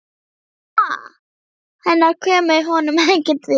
Mamma hennar kemur honum ekkert við.